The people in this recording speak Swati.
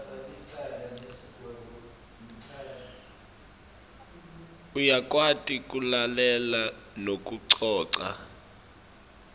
uyakwati kulalela nekucoca